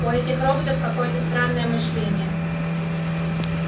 у этих роботов какое-то странное мышление